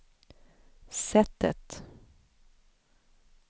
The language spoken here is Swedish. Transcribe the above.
sättet